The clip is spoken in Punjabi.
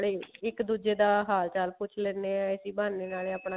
ਤੇ ਇੱਕ ਦੁੱਜੇ ਦਾ ਹਾਲ ਚਾਲ ਪੁੱਛ ਲੈਂਦੇ ਹਾਂ ਇਸੀ ਬਹਾਨੇ ਨਾਲੇ ਆਪਣਾ